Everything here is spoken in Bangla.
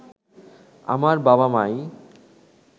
আমার বাবা মাই